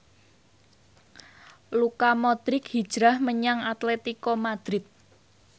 Luka Modric hijrah menyang Atletico Madrid